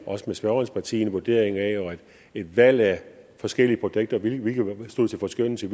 også med spørgerens parti en vurdering af og et valg af forskellige projekter og hvilke der stod til forskønnelse